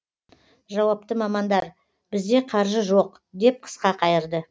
жауапты мамандар бізде қаржы жоқ деп қысқа қайырды